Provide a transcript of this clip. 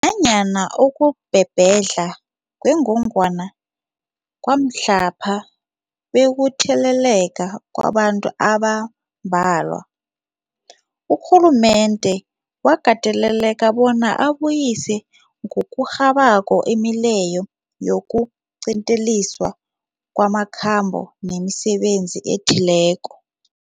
Nanyana ukubhebhedlha kwengogwana kwamhlapha bekukutheleleka kwabantu abambalwa, urhulumende wakateleleka bona abuyise ngokurhabako imileyo yokuqinteliswa kwamakhambo nemisebenzi ethileko.